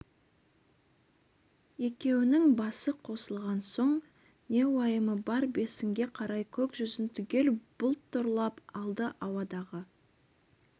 екеуінің басы қосылған соң не уайымы бар бесінге қарай көк жүзін түгел бұлт торлап алды ауадағы